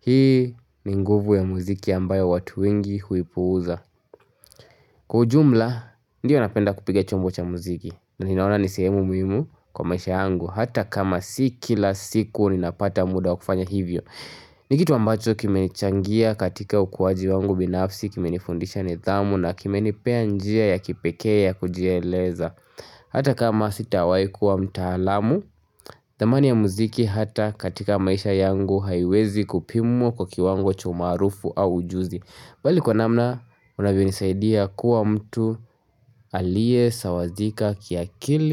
Hii ni nguvu ya mziki ambayo watu wengi huipuuza Kwa ujumla Ndiyo napenda kupiga chombo cha mziki na ninaona ni sehemu muhimu kwa maisha yangu hata kama si kila siku ninapata muda wa kufanya hivyo ni kitu ambacho kimenichangia katika ukuwaji wangu binafsi kimenifundisha nidhamu na kimenipea njia ya kipekee ya kujieleza hata kama sitawahi kuwa mtaalamu dhamani ya mziki hata katika maisha yangu haiwezi kupimwa kwa kiwango cha umaalufu au ujuzi bali kwa namna unavyonisaidia kuwa mtu aliye sawazika kiakili.